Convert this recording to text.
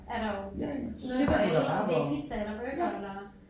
Er der jo noget for alle om det er pizza eller burger eller